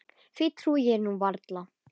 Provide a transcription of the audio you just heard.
Því trúi ég nú varla.